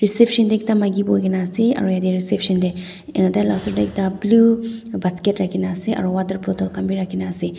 reception teh ekta maiki bohi ke na ase aro ete reception teh tai lah oshor teh ekta blue basket rakhina ase aru water bottle khan bhi rakhi na ase.